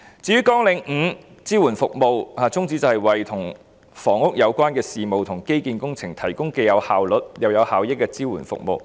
至於"綱領5支援服務"的宗旨是為與房屋有關的事務和基建工程提供既有效率又有效益的支援服務。